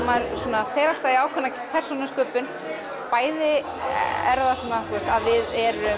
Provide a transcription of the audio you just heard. maður fer alltaf í ákveðna persónusköpun bæði erum við